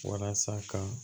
Walasa ka